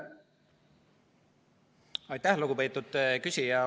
Aitäh, lugupeetud küsija!